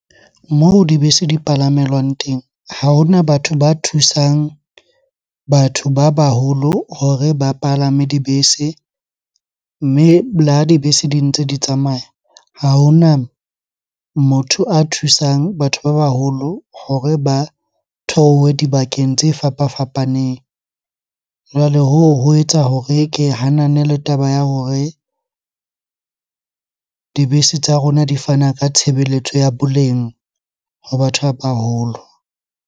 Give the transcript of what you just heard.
Moo dibese di palamelwang teng, ha hona batho ba thusang batho ba baholo hore ba palame dibese. Mme le ha dibese di ntse di tsamaya, ha hona motho a thusang batho ba baholo hore ba theohe dibakeng tse fapafapaneng. Jwale hoo ho etsa hore ke hanane le taba ya hore dibese tsa rona di fana ka tshebeletso ya boleng ho batho ba baholo.